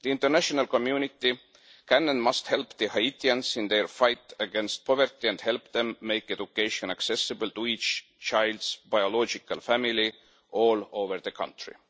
The international community can, and must, help the Haitians in their fight against poverty and help them make education accessible to each child's biological family, all over the country.